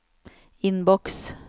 innboks